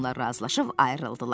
Onlar razılaşıb ayrıldılar.